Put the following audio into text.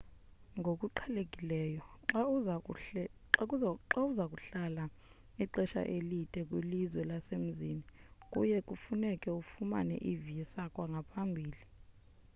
ngokuqhelekileyo xa uza kuhlala ixesha elide kwilizwe lasemzini kuye kufuneke ufumane i-visa kwangaphambili